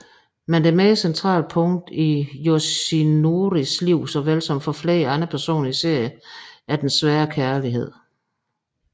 Men det mere centrale punkt i Yoshinoris liv såvel som for flere andre personer i serien er den svære kærlighed